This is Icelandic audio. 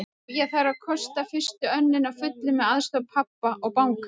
Jú, ég þarf að kosta fyrstu önnina að fullu með aðstoð pabba og bankanna.